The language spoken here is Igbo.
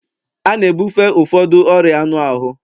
A na-ebufe ụfọdụ ọrịa anụ ahụ